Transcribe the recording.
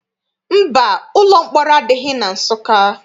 Mba, ụlọ mkpọrọ adịghị na Nsụka.